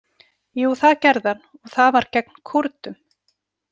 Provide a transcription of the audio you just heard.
Jú, það gerði hann og það var gegn Kúrdum.